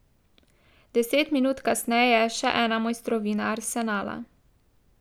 Deset minut kasneje še ena mojstrovina Arsenala.